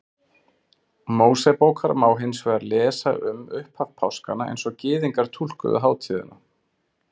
Mósebókar má hins vegar lesa um upphaf páskanna eins og Gyðingar túlkuðu hátíðina.